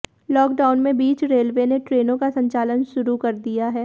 lockdown के बीच railway ने ट्रेनों का संचालन शुरू कर दिया है